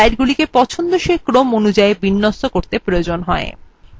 এই view slidesগুলিকে পছন্দসই ক্রম অনুযায়ী বিন্যস্ত করতে প্রয়োজনীয়